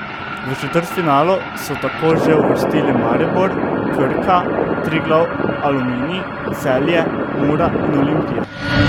V četrtfinalu so tako že uvrstili Maribor, Krka, Triglav, Aluminij, Celje, Mura in Olimpija.